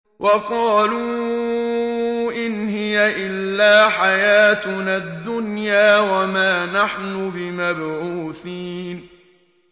وَقَالُوا إِنْ هِيَ إِلَّا حَيَاتُنَا الدُّنْيَا وَمَا نَحْنُ بِمَبْعُوثِينَ